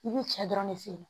I bi cɛ dɔrɔn de feere